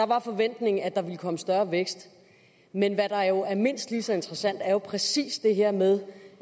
var forventningen at der ville komme større vækst men hvad der jo er mindst lige så interessant er jo præcis det her med